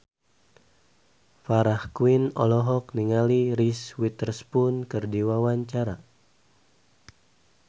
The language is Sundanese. Farah Quinn olohok ningali Reese Witherspoon keur diwawancara